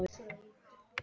Viltu lifa lengi?